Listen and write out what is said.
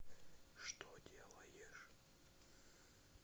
что делаешь